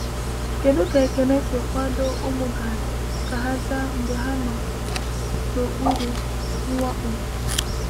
“Kedu ka Ekene si kwado kwado ụmụ Gad ka ha zaa mgbe ha nọ n’okpuru mwakpo?”